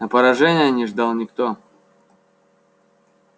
но поражения не ждал никто